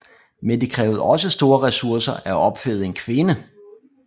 Men det krævede også store resurser at opfede en kvinde